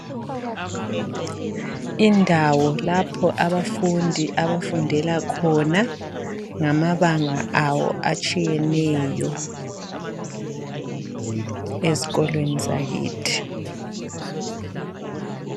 indawo lapho abafundi abafundela khona ngamabanga awo atshiyeneyo ezikolweni zakithi